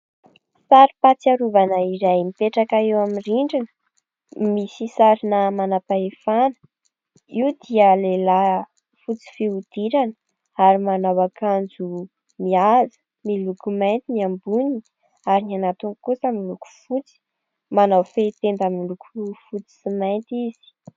Sary fahatsiarovana iray mipetraka eo amin'ny rindrina. Misy sarina manam-pahefana. Io dia lehilahy fotsy fihodirana ary manao akanjo mihaja ; miloko mainty ny amboniny ary ny anatiny kosa miloko fotsy. Manao fehi-tenda miloko fotsy sy mainty izy.